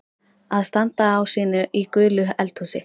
Að standa á sínu í gulu eldhúsi